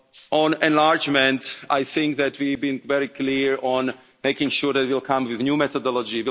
On enlargement, I think that we have been very clear on making sure that we will come with a new methodology.